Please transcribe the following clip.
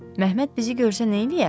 Məmməd bizi görsə neyləyər?